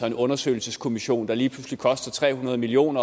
en undersøgelseskommission der lige pludselig koster tre hundrede million